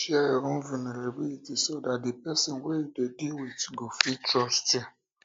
share your own vulnerability so dat di person di person wey you dey deal with um go fit trust you